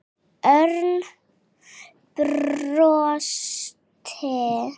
Örn brosti.